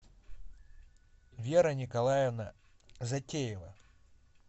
вера николаевна затеева